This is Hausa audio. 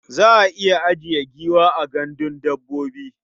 Za a iya ajiye giwa a gandun dabbobi.